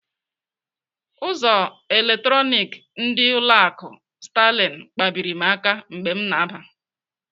Ụzọ eletronik ndị ụlọ akụ Sterling kpabiri m aka mgbe m na-aba.